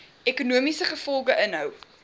ekonomiese gevolge inhou